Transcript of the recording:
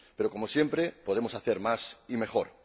Pero, como siempre, podemos hacer más y mejor.